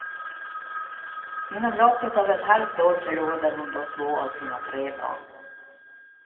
Inom loppet av ett halvt år förlorade hon då två av sina tre barn.